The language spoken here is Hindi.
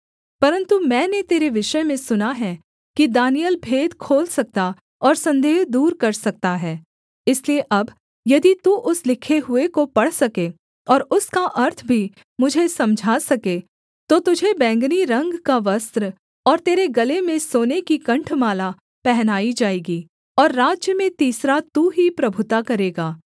परन्तु मैंने तेरे विषय में सुना है कि दानिय्येल भेद खोल सकता और सन्देह दूर कर सकता है इसलिए अब यदि तू उस लिखे हुए को पढ़ सके और उसका अर्थ भी मुझे समझा सके तो तुझे बैंगनी रंग का वस्त्र और तेरे गले में सोने की कण्ठमाला पहनाई जाएगी और राज्य में तीसरा तू ही प्रभुता करेगा